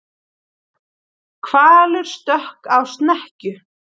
Hvalur stökk á snekkju